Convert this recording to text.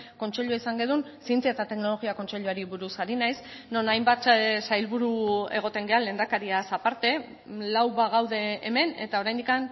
kontseilua izan genuen zientzia eta teknologia kontseiluari buruz ari naiz non hainbat sailburu egoten gara lehendakariaz aparte lau bagaude hemen eta oraindik